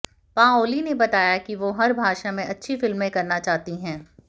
Pauli ने बताया कि वो हर भाषा में अच्छी फिल्में करना चाहती हैं